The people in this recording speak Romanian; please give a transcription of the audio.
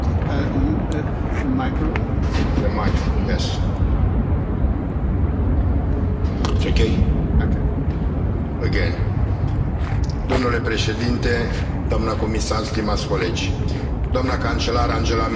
Domnule președinte, doamnă comisar, stimați colegi, doamna cancelar Angela Merkel sublinia recent importanța preocupării pentru coeziunea Europei ca una dintre prioritățile fundamentale ale Președinției germane ale Consiliului European.